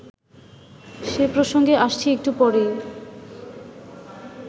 সে প্রসঙ্গে আসছি একটু পরেই